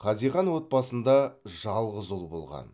хазихан отбасында жалғыз ұл болған